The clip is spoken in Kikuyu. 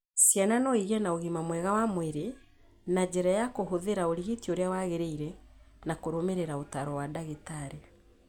Ciana no igĩe na ũgima mwega wa mwĩrĩ na njĩra ya kũhũthĩra ũrigiti ũrĩa wagĩrĩire na kũrũmĩrĩra ũtaaro wa ndagĩtarĩ.